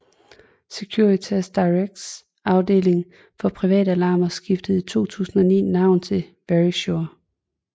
Securitas Directs afdeling for privatalarmer skiftede i 2009 navn til Verisure